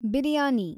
biryani